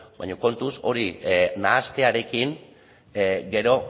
baina kontuz hori nahastearekin gero